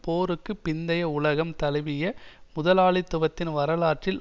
போருக்கு பிந்தைய உலகம் தழுவிய முதலாளித்துவத்தின் வரலாற்றில்